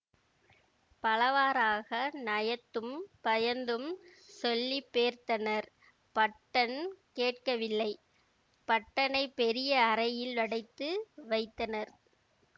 பலவாறாக நயத்தும் பயந்தும் சொல்லிப்பேர்த்தனர் பட்டன் கேட்கவில்லை பட்டனைப் பெரிய அறையில் அடைத்து வைத்தனர்